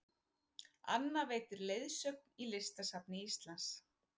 Anna veitir leiðsögn í Listasafni Íslands